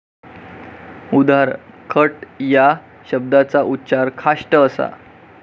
उदा. खट या शब्दाचा उच्चार खाष्ट असा.